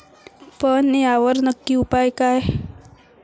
पण यावर नक्की उपाय काय?